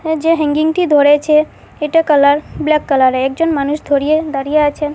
এ যে হ্যাঙ্গিংটি ধরেছে এটা কালার ব্ল্যাক কালারে একজন মানুষ ধরিয়ে দাঁড়িয়ে আছেন।